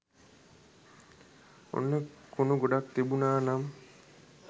ඔන්න කුණු ගොඩක් තිබුනානම්